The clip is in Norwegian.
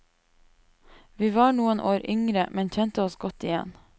Vi var noen år yngre, men kjente oss godt igjen.